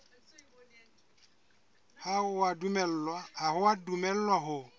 ha o a dumellwa ho